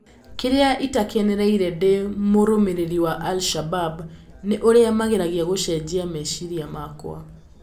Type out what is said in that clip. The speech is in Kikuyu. "Kĩrĩa itakenereire ndĩ mũrũmĩrĩri wa Al Shabab nĩ ũrĩa mageragia gũcenjia meciria makwa."